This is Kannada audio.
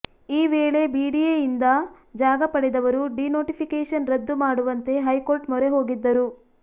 ಈ ವೇಳೆ ಬಿಡಿಎಯಿಂದ ಜಾಗ ಪಡೆದವರು ಡಿನೋಟಿಫಿಕೇಶನ್ ರದ್ದು ಮಾಡುವಂತೆ ಹೈಕೋರ್ಟ್ ಮೊರೆ ಹೋಗಿದ್ದರು